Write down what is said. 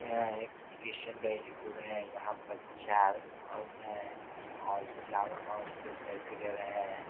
यह एक क्रिस्चियन का स्कूल है। यहाँ पर चार औरत हैं और चारों औरत जो सेल्फ़ी ले रहे हैं।